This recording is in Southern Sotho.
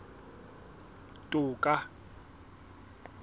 toka